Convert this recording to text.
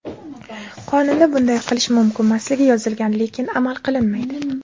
Qonunda bunday qilish mumkinmasligi yozilgan, lekin amal qilinmaydi.